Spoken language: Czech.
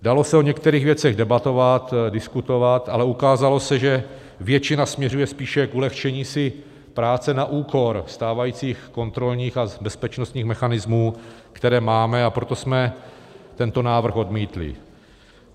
Dalo se o některých věcech debatovat, diskutovat, ale ukázalo se, že většina směřuje spíše k ulehčení si práce na úkor stávajících kontrolních a bezpečnostních mechanismů, které máme, a proto jsme tento návrh odmítli.